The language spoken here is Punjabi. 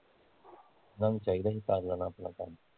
ਇਹਨਾਂ ਨੂੰ ਚਾਹੀਦਾ ਸੀ ਪਾਗਲਾਂ ਨਾ ਆਪਣਾ ਕਰਨ